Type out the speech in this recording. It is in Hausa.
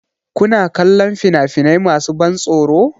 Kuna kallon fina-finai masu ban tsoro?